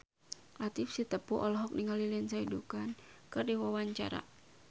Latief Sitepu olohok ningali Lindsay Ducan keur diwawancara